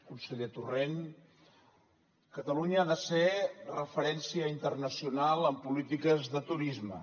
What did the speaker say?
conseller torrent catalunya ha de ser referència internacional en polítiques de turisme